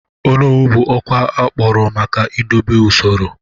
Onowu bụ ọkwa akpọrọ maka idobe usoro.